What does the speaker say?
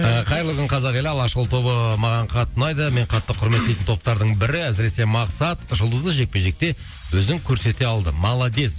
ы қайырлы күн қазақ елі алашұлы тобы маған қатты ұнайды мен қатты құрметтейтін топтардың бірі әсіресе мақсат жұлдызды жекпе жекте өзін көрсете алды молодец